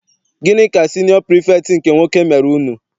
Gịnị ka siniọ pirifektị nke nwoke mere unu?